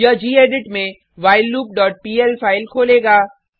यह गेडिट में whileloopपीएल फाइल खोलेगा